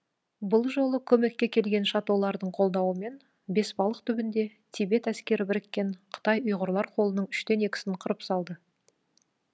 бұл жолы көмекке келген шатолардың қолдауымен бесбалық түбінде тибет әскері біріккен қытай ұйғырлар қолының үштен екісін қырып салды